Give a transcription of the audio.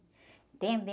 Entende?